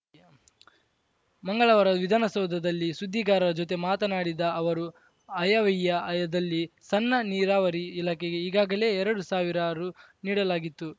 ಮಂಗಳವಾರ ವಿಧಾನಸೌಧದಲ್ಲಿ ಸುದ್ದಿಗಾರರ ಜೊತೆ ಮಾತನಾಡಿದ ಅವರು ಆಯವ್ಯಯದಲ್ಲಿ ಸಣ್ಣ ನೀರಾವರಿ ಇಲಾಖೆಗೆ ಈಗಾಗಲೇ ಎರಡು ಸಾವಿರ ರು ನೀಡಲಾಗಿತ್ತು